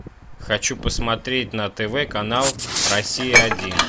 хочу посмотреть на тв канал россия один